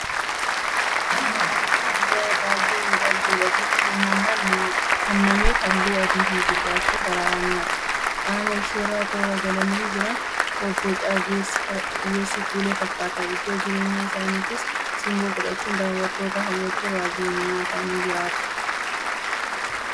Harreen diidaa baay'ee miidhagduudha. Bifti uumamaan kennameef halluun Adiifi Gurraachi sassararamanii qaama isheerra toora galanii jiran bobboca ogeessi kuule fakkaata. Iddoo jireenya isaaniittis simboo gochuun daawwattoota hawwachuun raajii uumamaa ta'anii jiraatu. Kana malees madda galii ta'ii biyya fayyadu. Haata'u malee harreen diidaa maalsoorratti?